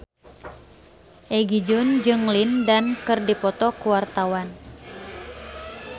Egi John jeung Lin Dan keur dipoto ku wartawan